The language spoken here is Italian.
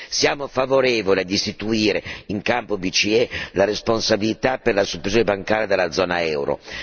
Siamo favorevoli ad istituire in campo BCE la responsabilità per la supervisione bancaria della zona euro.